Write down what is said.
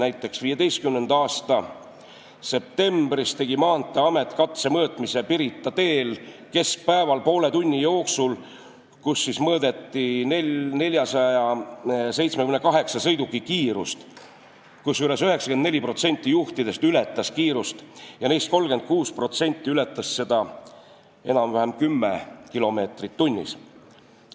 Näiteks tegi Maanteeamet 2015. aasta septembris katsemõõtmise Pirita teel keskpäeval poole tunni jooksul, mõõdeti 478 sõiduki kiirust, kusjuures 94% juhtidest ületas kiirust ja neist 36% ületas seda üle 10 kilomeetri tunnis.